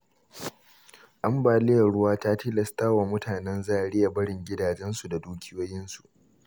Ambaliyar ruwa ta tilastwa mutanen Zariya barin gidajensu da dukiyoyinsu.